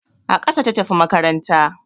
A ƙasa ta tafi makaranta